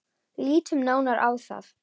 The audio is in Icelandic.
Lítum nánar á það.